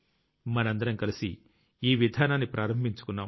మనందరం కలిసి ఈ విధానాన్ని ప్రారంభించుకున్నాం